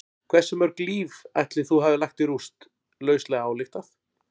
Hversu mörg líf ætli þú hafir lagt í rúst, lauslega ályktað?